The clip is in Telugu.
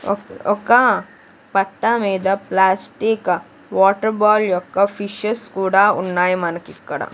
ఒక్-- ఒక పట్ట మీద ప్లాస్టిక్ వాటర్ బాల్ యొక్క ఫిషెస్ కూడా ఉన్నాయి మనకి ఇక్కడ.